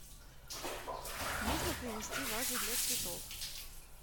нужно принести вазу для цветов